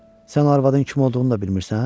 Sən o arvadın kim olduğunu da bilmirsən?